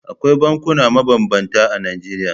Akwai bankuna mabambanta a Najeriya.